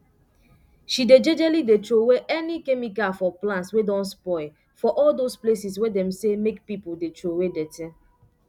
she dey jejely dey trowey any chemical for plants wey don spoil for all those places wey dem say make pipu dey trowey dirty